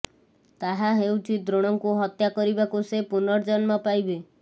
ତାହା ହେଉଛି ଦ୍ରୋଣଙ୍କୁ ହତ୍ୟା କରିବାକୁ ସେ ପୁନର୍ଜନ୍ମ ପାଇବେ